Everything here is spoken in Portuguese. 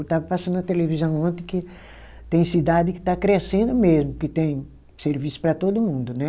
Estava passando na televisão ontem que tem cidade que está crescendo mesmo, que tem serviço para todo mundo, né?